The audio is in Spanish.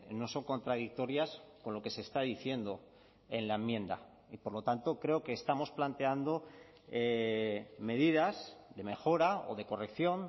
no son contradictorias con lo que se está diciendo en la enmienda y por lo tanto creo que estamos planteando medidas de mejora o de corrección